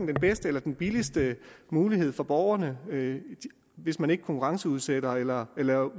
bedste eller den billigste mulighed for borgerne hvis man ikke konkurrenceudsætter eller laver